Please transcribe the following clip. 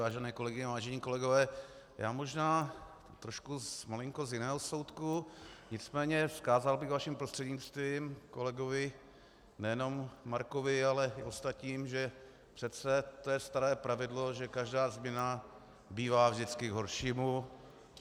Vážené kolegyně, vážení kolegové, já možná trošku malinko z jiného soudku, nicméně vzkázal bych vaším prostřednictvím kolegovi nejenom Markovi, ale i ostatním, že přece to je staré pravidlo, že každá změna bývá vždycky k horšímu.